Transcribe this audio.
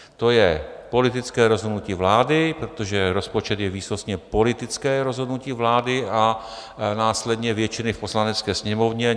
To je politické rozhodnutí vlády, protože rozpočet je výsostně politické rozhodnutí vlády a následně většiny v Poslanecké sněmovně.